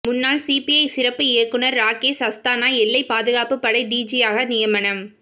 முன்னாள் சிபிஐ சிறப்பு இயக்குநர் ராகேஷ் அஸ்தானா எல்லை பாதுகாப்பு படை டிஜியாக நியமனம்